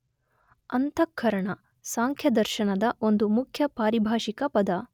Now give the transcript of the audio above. ಅಂತಃಕರಣ, ಸಾಂಖ್ಯದರ್ಶನದ ಒಂದು ಮುಖ್ಯ ಪಾರಿಭಾಷಿಕ ಪದ.